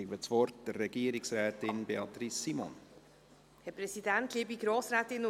Ich erteile Regierungsrätin Simon das Wort.